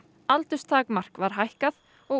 aldurstakmark var hækkað og